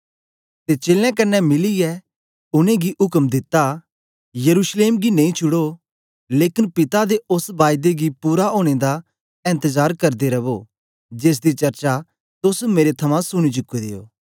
ते चेलें कन्ने मिलीयै उनेंगी उक्म दित्ता यरूशलेम गी नेई छुड़ो लेकन पिता दे ओस बायदे गी पूरा ओनें दा एन्तजार करदे रवो जेसदी चर्चा तोस मेरे थमां सुनी चुके दे ओ